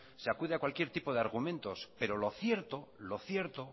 se acude a cualquier tipo de argumentos pero lo cierto